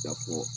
Ka fɔ